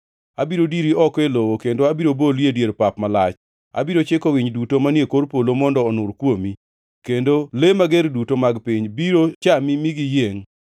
Abiro diri oko e lowo kendo abiro boli e dier pap malach. Abiro chiko winy duto manie kor polo mondo onur kuomi, kendo le mager duto mag piny biro chami mi giyiengʼ.